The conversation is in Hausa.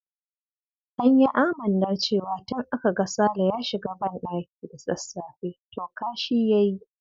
An yi amannar cewa tun aka ga Sale ya shiga bandaki da sassafe, to kashi ya yi.